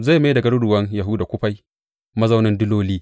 Zai mai da garuruwan Yahuda kufai, mazaunin diloli.